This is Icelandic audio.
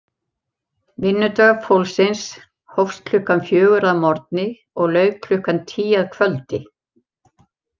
Vinnudagur fólksins hófst klukkan fjögur að morgni og lauk klukkan tíu að kvöldi.